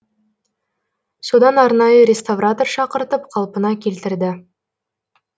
содан арнайы реставратор шақыртып қалпына келтірді